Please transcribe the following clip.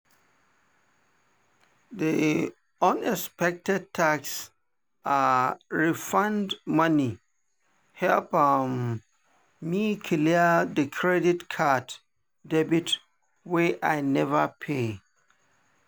the unexpected tax refund money help um me clear the credit card debt wey i never pay.